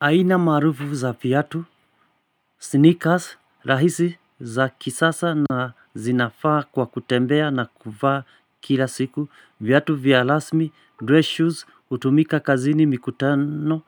Aina maarufu za viatu. Sneakers, rahisi za kisasa na zinafaa kwa kutembea na kuvaa kila siku, viatu vya rasmi, dress shoes, utumika kazini, mikutano.